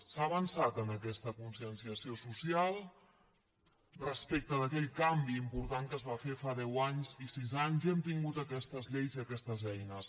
s’ha avançat en aquesta conscienciació social respecte d’aquell canvi important que es va fer fa deu anys i sis anys i hem tingut aquestes lleis i aquestes eines